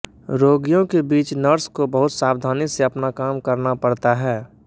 रोगियों के बीच नर्स को बहुत सावधानी से अपना काम करना पड़ता है